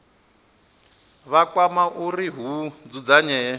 vha kwama uri hu dzudzanywe